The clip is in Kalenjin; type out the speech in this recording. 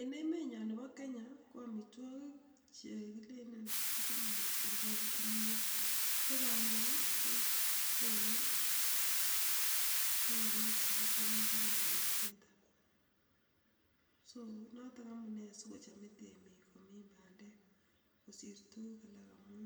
En emenyoon nebo Kenya, ko amitwokik che kilelen kichome mising ko kimnyet, ko bandek kokonu ungek chekichope kimnyonotet so notok amune sikochomei temik komin bandek kosir tuguk alak amun